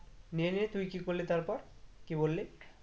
নিয়ে নিয়ে তুই কি করলি তারপর? কি বললি?